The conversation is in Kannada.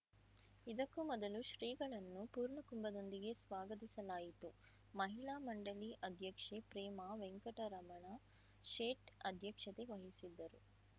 ಇದಕ್ಕೂ ಮೊದಲು ಶ್ರೀಗಳನ್ನು ಪೂರ್ಣಕುಂಭದೊಂದಿಗೆ ಸ್ವಾಗತಿಸಲಾಯಿತು ಮಹಿಳಾ ಮಂಡಳಿ ಅಧ್ಯಕ್ಷೆ ಪ್ರೇಮಾ ವೆಂಕಟರಮಣ ಶೇಟ್‌ ಅಧ್ಯಕ್ಷತೆ ವಹಿಸಿದ್ದರು